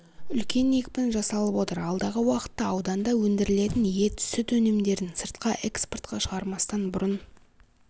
үлкен екпін жасалып отыр алдағы уақытта ауданда өндірілетін ет сүт өнімдерін сыртқа экспортқа шығармастан бұрын